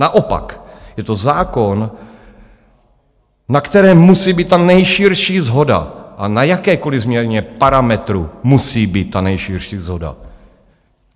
Naopak je to zákon, na kterém musí být ta nejširší shoda, a na jakékoliv změně parametru musí být ta nejširší shoda.